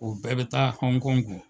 O bɛɛ be taa hɔnkɔnki .